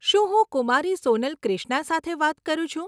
શું હું કુમારી સોનલ ક્રિશ્ના સાથે વાત કરું છું?